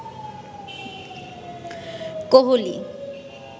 Kohli